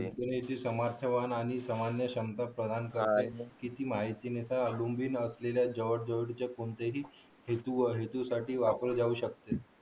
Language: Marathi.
पुण्याची समाजसेवा आणि सामान्य क्षमता बघण्यासाठी किती माहिती मिळते कोणत्याही हेतूवर आणि हेतूसाठी वापरली जाऊ शकतात